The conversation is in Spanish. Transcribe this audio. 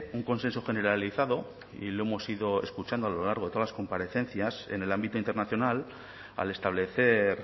un consenso generalizado y lo hemos ido escuchando a lo largo de todas las comparecencias en el ámbito internacional al establecer